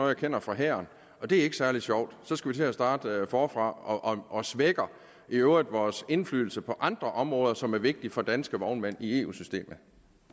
jeg kender fra hæren og det er ikke særlig sjovt så skal vi til at starte forfra og det svækker i øvrigt vores indflydelse på andre områder som er vigtige for danske vognmænd i eu systemet